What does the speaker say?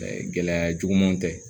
gɛlɛya jugumanw tɛ